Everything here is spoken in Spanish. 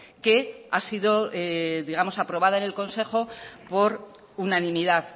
que ha sido digamos aprobado en el consejo por unanimidad